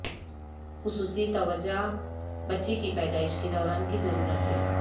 خصوصی توجہ بچے کی پیدائش کے دوران کی ضرورت ہے